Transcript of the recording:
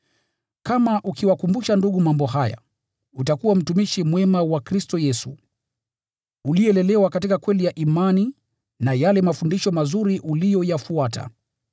Kama ukiwakumbusha ndugu mambo haya, utakuwa mtumishi mwema wa Kristo Yesu, uliyelelewa katika kweli ya imani na yale mafundisho mazuri uliyoyafuata.